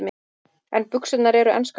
En buxurnar eru enskar þó.